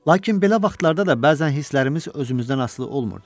Lakin belə vaxtlarda da bəzən hisslərimiz özümüzdən asılı olmurdu.